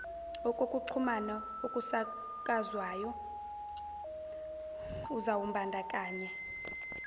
okokuxhumana okusakazwayo uzawubandakanya